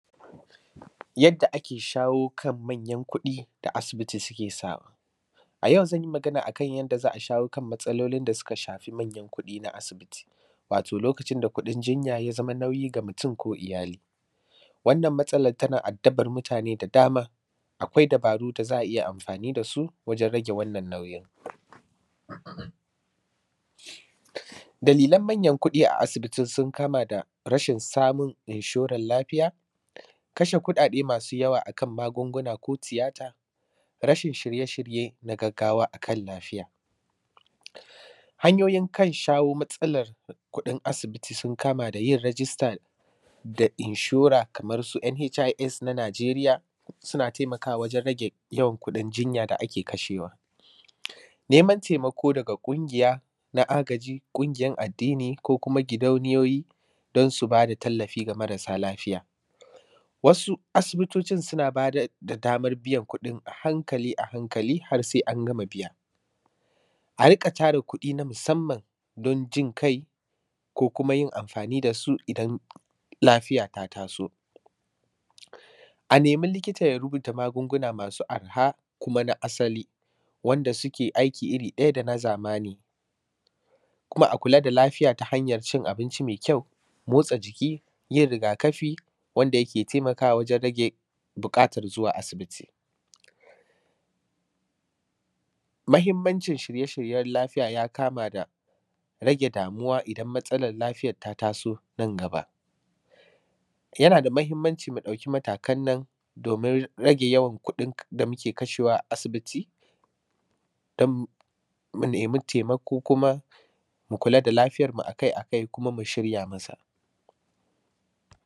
Yadda ake shawo kan manyan kuɗi da asibiti suke samu. A yau zan yi magana a kan yadda za a shawo kan matsalolin da suka shafi manyan kuɗi na asibiti, wato lokacin da kuɗin jinya ya zama nauyi ga mutum ko iyali. Wannan matsalat tana addabar mutane da dama, akwai dabaru da za a iya amfani da su, wajen rage wannan nauyin. Dalilan manyan kuɗi a asibiti sun kama da rashin samun inshoran lafiya, kashe kuɗaɗe masu yawa a kan magunguna ko tiyata, rashin shirye-shirye na gaggawa a kan lafiya. Hanyoyin kan shawo matsalar kuɗin asibiti sun kama da yin rajista da inshora kamar su nhis na Najeriya, suna temakawa wajen rage yawan kuɗin jinya da ake kashewa. Neman temako daga ƙungiya na agaji, ƙungiyan addini ko kuma gidauniyoyi, dan su ba da tallafi ga marasa lafiya. Wasu asibitocin suna ba da; da damar biyan kuɗin a hankali a hankali har sai an gama biya. A riƙa tara kuɗi na musamman don jin ƙai, ko kuma yin amfani da su idan lafiya ta taso. A nemi likita ya rubuta magunguna masu arha kuma na asali wanda suke aiki iri ɗaya da na zamani. Kuma a kula da lafiya ta hanyar cin abinci me kyau, motsa jiki, yin rigakafi wanda yake temakawa wajen rage buƙatar zuwa asibiti. Mahimmancin shirye-shiryen lafiya ya kama da rage damuwa idan matsalar lafiyat ta taso nan gaba. Yana da mahimmanci mu ɗauki matakan nan domin rage yawan kuɗin k; da muke kashewa a asibiti dam; mu nemi temako kuma, mu kula da lafiyarmu a kai a kai kuma mu shirya masa.